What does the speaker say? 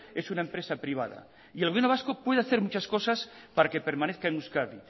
es una empresa privada y el gobierno vasco puede hacer muchas cosas para que permanezca en euskadi